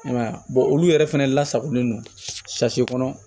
I m'a ye a olu yɛrɛ fɛnɛ lasagolen don kɔnɔ